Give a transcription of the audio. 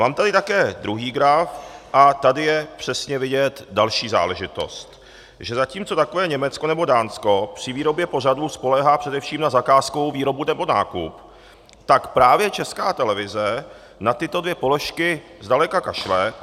Mám tady taky druhý graf a tady je přesně vidět další záležitost, že zatímco takové Německo nebo Dánsko při výrobě pořadů spoléhá především na zakázkovou výrobu nebo nákup, tak právě Česká televize na tyto dvě položky zdaleka kašle.